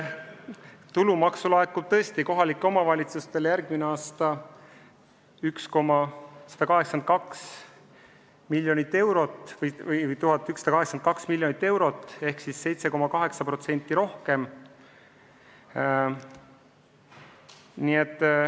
Tulumaksu laekub kohalikele omavalitsustele järgmisel aastal 1182 miljonit eurot ehk siis 7,8% rohkem.